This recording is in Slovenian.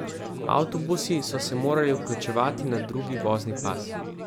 Avtobusi so se morali vključevati na drugi vozni pas.